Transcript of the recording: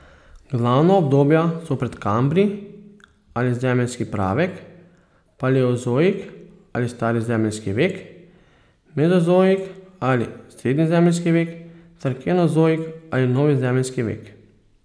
Glavna obdobja so predkambrij ali zemeljski pravek, paleozoik ali stari zemeljski vek, mezozoik ali srednji zemeljski vek ter kenozoik ali novi zemeljski vek.